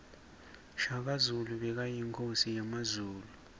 shaka zulu bekayinkosi yemazulu